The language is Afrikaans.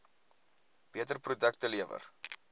beter produkte lewer